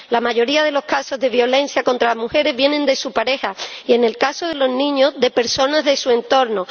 La mayoría de los casos de violencia contra las mujeres vienen de su pareja y, en el caso de los niños, de personas de su entorno.